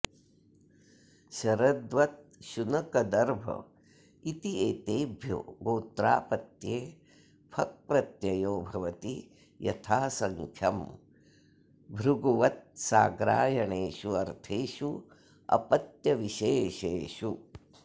शरद्वत् शुनक दर्भ इत्येतेभ्यो गोत्रापत्ये फक् प्रत्ययो भवति यथासङ्ख्यं भृगुवत्साग्रायणेषु अर्थेषु अपत्यविशेषेषु